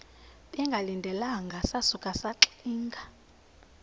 bengalindelanga sasuka saxinga